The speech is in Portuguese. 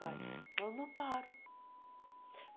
faz Mas eu não paro.